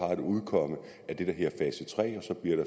har et udkomme af det er fase tre